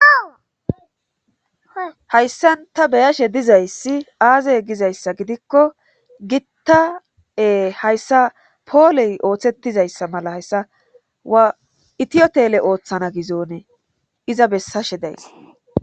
hayssan ta beyashe dizayssi aazey gizayssa gidikko gitta hayssa pooley ooththetizayssa mala hayssa waa itiyotele ooththana gizonee iza bessashe days.